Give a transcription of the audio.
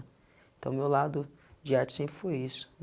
Então meu lado de arte sempre foi isso.